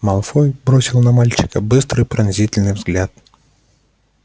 малфой бросил на мальчика быстрый пронзительный взгляд